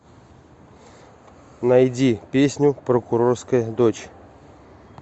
найди песню прокурорская дочь